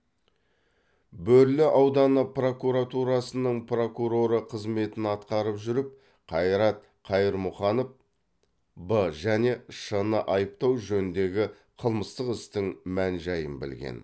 бөрлі ауданы прокуратурасының прокуроры қызметін атқарып жүріп қайрат қайырмұханов б және ш ны айыптау жөніндегі қылмыстық істің мән жайын білген